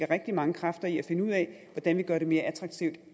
rigtig mange kræfter i at finde ud af hvordan vi gør det mere attraktivt at